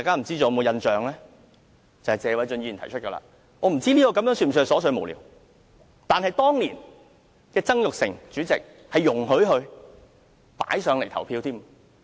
這是謝偉俊議員提出的修正案，我不知道是否屬於瑣屑無聊，但當年曾鈺成前主席容許他提出並進行表決。